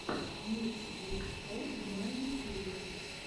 микс гуд шоу на ютюбе